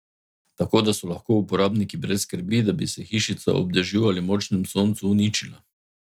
Tako, da so lahko uporabniki brez skrbi, da bi se hišica ob dežju ali močnem soncu uničila.